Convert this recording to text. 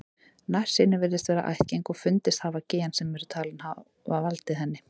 Nærsýni virðist vera ættgeng og fundist hafa gen sem eru talin geta valdið henni.